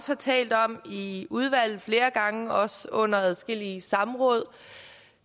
har talt om i udvalget flere gange også under adskillige samråd